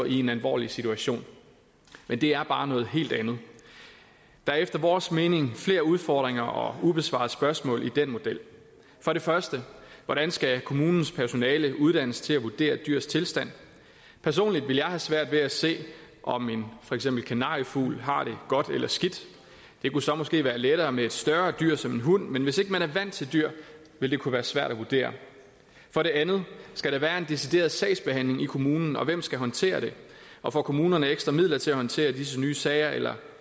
i en alvorlig situation men det er bare noget helt andet der er efter vores mening flere udfordringer og ubesvarede spørgsmål i den model for det første hvordan skal kommunens personale uddannes til at vurdere dyrs tilstand personligt ville jeg have svært ved at se om for eksempel en kanariefugl har det godt eller skidt det kunne så måske være lettere med et større dyr som en hund men hvis ikke man er vant til dyr vil det kunne være svært at vurdere for det andet skal der være en decideret sagsbehandling i kommunen og hvem skal håndtere det og får kommunerne ekstra midler til at håndtere disse nye sager eller